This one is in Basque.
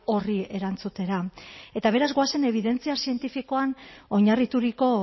horri erantzutera eta beraz goazen ebidentzia zientifikoan oinarrituriko